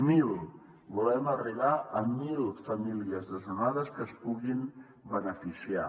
mil volem arribar a mil famílies desnonades que se’n puguin beneficiar